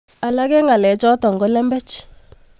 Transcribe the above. Alak eng' ng'alek chotok ko lembech